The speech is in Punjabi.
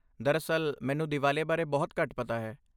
ਦਰਅਸਲ, ਮੈਨੂੰ ਦੀਵਾਲੀ ਬਾਰੇ ਬਹੁਤ ਘੱਟ ਪਤਾ ਹੈ।